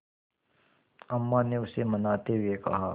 अम्मा ने उसे मनाते हुए कहा